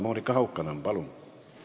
Monika Haukanõmm, palun!